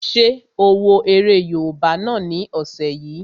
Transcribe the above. Ṣé o wo eré yóòbá náà ni ọ̀sẹ̀ yìí?